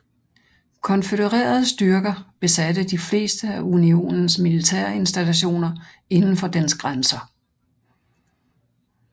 Konfødererede styrker besatte de fleste af Unionens militærinstallationer indenfor dens grænser